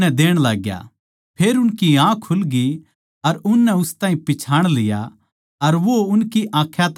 फेर उनकी आँख खुल ग्यी अर उननै उस ताहीं पिच्छाण लिया अर वो उनकी आँखां तै ओन्झळ होग्या